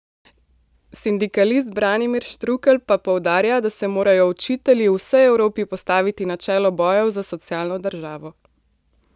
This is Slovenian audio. Sindikalist Branimir Štrukelj pa poudarja, da se morajo učitelji v vsej Evropi postaviti na čelo bojev za socialno državo.